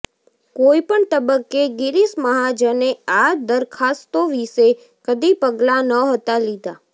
કોઈ પણ તબક્કે ગિરીશ મહાજને આ દરખાસ્તો વિશે કદી પગલાં નહોતા લીધાં